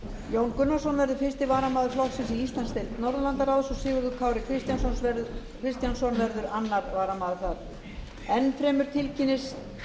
jón gunnarsson verður fyrsti varamaður flokksins í íslandsdeild norðurlandaráðs og sigurður kári kristjánsson verður annar varamaður þar enn fremur tilkynnist